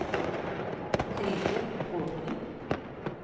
Helge Bråten